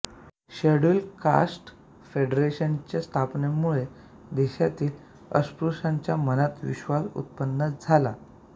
scheduled castes फेडरेशनच्या स्थापनेमुळे देशातील अस्पृशांच्या मनात विश्वास उत्पन्न झाला